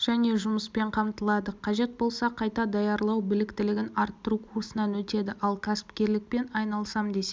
және жұмыспен қамтылады қажет болса қайта даярлау біліктілігін арттыру курсынан өтеді ал кәсіпкерлікпен айналысам десе